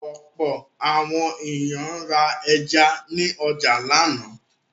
Ọ̀pọ̀ àwọn ènìyàn ra ẹja ní ọjà lánàá.